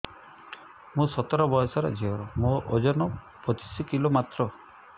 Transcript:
ମୁଁ ସତର ବୟସର ଝିଅ ମୋର ଓଜନ ପଚିଶି କିଲୋ ମାତ୍ର